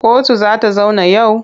Kotu za ta zauna yau?